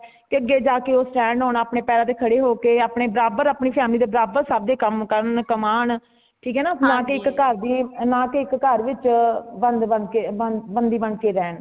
ਕੇ ਅੱਗੇ ਜਾ ਕੇ ਉਹ stand ਹੋਣ ਆਪਣੇ ਪੈਰਾਂ ਤੇ ਖੜੇ ਹੋ ਕੇ ਆਪਣੇ ਬਰਾਬਰ ਆਪਣੀ family ਦੇ ਬਰਾਬਰ ਸਬਦੇ ਕਾਮ ਕਰਨ ,ਕਮਾਨ ਠੀਕ ਹੈ ਨਾ , ਨਾ ਕੀ ਇਕ ਘਰ ਦੀ ,ਨਾ ਕੀ ਇਕ ਘਰ ਵਿੱਚ ਬੰਦ ਬਣਕੇ ਬੰਦੀ ਬਣ ਕੇ ਰਹਿਣ